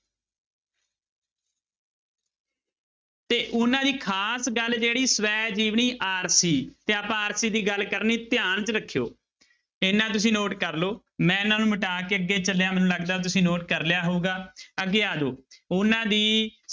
ਤੇ ਉਹਨਾਂ ਦੀ ਖ਼ਾਸ ਗੱਲ ਜਿਹੜੀ ਸਵੈ ਜੀਵਨੀ ਆਰਸੀ ਤੇ ਆਪਾਂ ਆਰਸੀ ਗੱਲ ਕਰਨੀ ਧਿਆਨ 'ਚ ਰੱਖਿਓ ਇੰਨਾ ਤੁਸੀਂ note ਕਰ ਲਓ ਮੈਂ ਇਹਨਾਂ ਨੂੂੰ ਮਿਟਾ ਕੇ ਮੈਨੂੰ ਲੱਗਦਾ ਤੁਸੀਂ note ਕਰ ਲਿਆ ਹੋਊਗਾ ਅੱਗੇ ਆ ਜਾਓ ਉਹਨਾਂ ਦੀ